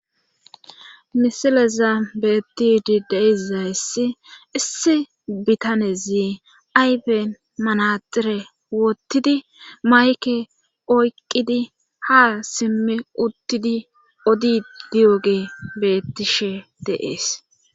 Misileza beettidi deizayssi issi bitanezi ayben manaxire wottidi mayke oyqqidi ha simmi uttidi odi diyoge bettishe deees.